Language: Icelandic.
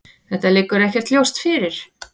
Þetta liggur ekkert ljóst fyrir.